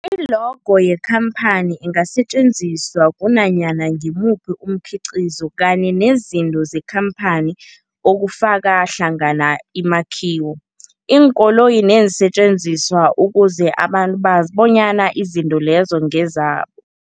I-logo yekhamphani ingasetjenziswa kunanyana ngimuphi umkhiqizo kanye nezinto zekhamphani okufaka hlangana imakhiwo, iinkoloyi neensentjenziswa ukuze abantu bazi bonyana izinto lezo ngezabo.